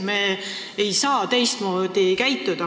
Me ei saa teistmoodi käituda.